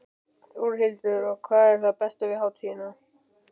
Þórhildur: Og hvað er það besta við hátíðina?